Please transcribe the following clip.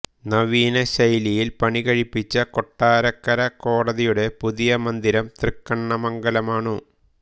നവീന ശൈലിയിൽ പണി കഴിപ്പിച്ച കൊട്ടരക്കര കോടതിയുടെ പുതിയ മന്ദിരം തൃക്കണ്ണമംഗലാണു